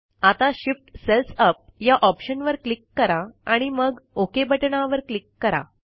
आता Shift cells up या ऑप्शनवर क्लिक करा आणि मग ओक बटणावर क्लिक करा